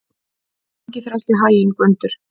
Gangi þér allt í haginn, Gvöndur.